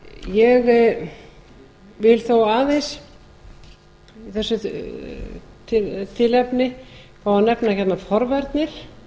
ég vil þó aðeins af þessu tilefni fá að nefna hérna forvarnir